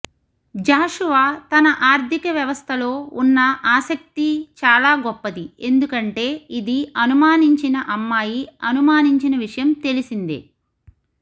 జాషువా తన ఆర్ధికవ్యవస్థలో ఉన్న ఆసక్తి చాలా గొప్పది ఎందుకంటే ఇది అనుమానించిన అమ్మాయి అనుమానించిన విషయం తెలిసిందే